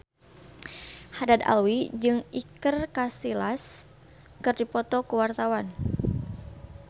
Haddad Alwi jeung Iker Casillas keur dipoto ku wartawan